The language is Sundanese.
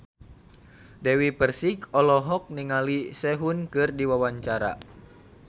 Dewi Persik olohok ningali Sehun keur diwawancara